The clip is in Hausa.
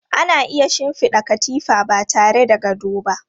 Ana iya shinfiɗa katifa ba tare da gado ba.